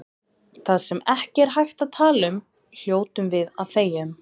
Það sem ekki er hægt að tala um hljótum við að þegja um.